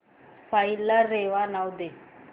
file ला रेवा नाव दे